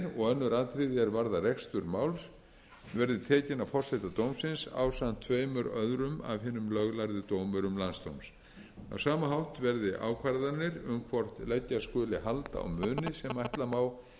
önnur atriði er varðar rekstur máls verði tekin af forseta dómsins ásamt tveimur öðrum af hinum löglærðu dómurum landsdóms á sama hátt verði ákvarðanir um hvort leggja skuli hald á muni sem ætla má